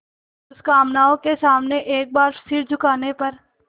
दुष्कामनाओं के सामने एक बार सिर झुकाने पर